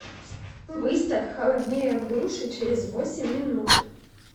выставь холоднее в душе через восемь минут